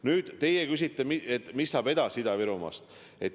Nüüd te küsite, mis saab edasi Ida-Virumaast.